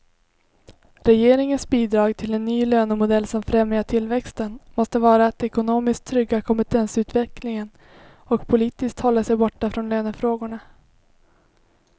Regeringens bidrag till en ny lönemodell som främjar tillväxten måste vara att ekonomiskt trygga kompetensutvecklingen och politiskt hålla sig borta från lönefrågorna.